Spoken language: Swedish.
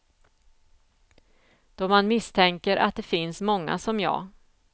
Då man misstänker att det finns många som jag.